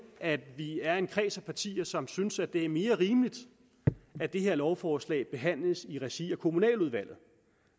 at vi er en kreds af partier som synes det er mere rimeligt at det her lovforslag behandles i regi af kommunaludvalget